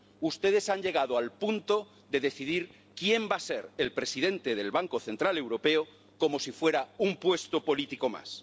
Ustedes han llegado al punto de decidir quién va a ser el presidente del Banco Central Europeo como si fuera un puesto político más.